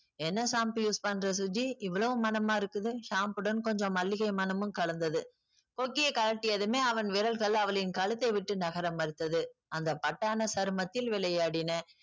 என்ன shampoo use பண்றே சுஜி இவ்ளோ மணமா இருக்குது. shampoo வுடன் கொஞ்சம் மல்லிகை மணமும் கலந்தது. கொக்கியை கழட்டியதுமே அவன் விரல்கள் அவளின் கழுத்தை விட்டு நகர மறுத்தது. அந்த பட்டான சருமத்தில் விளையாடின.